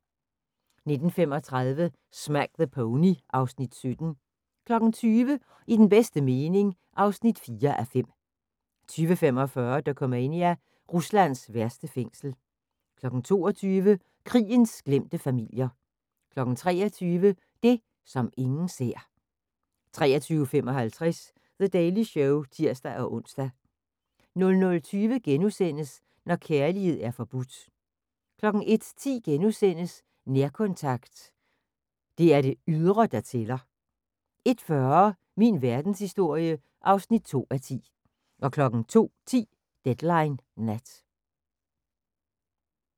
19:35: Smack the Pony (Afs. 17) 20:00: I den bedste mening (4:5) 20:45: Dokumania: Ruslands værste fængsel 22:00: Krigens glemte familier 23:00: Det, som ingen ser 23:55: The Daily Show (tir-ons) 00:20: Når kærlighed er forbudt * 01:10: Nærkontakt – det er det ydre der tæller * 01:40: Min verdenshistorie (2:10) 02:10: Deadline Nat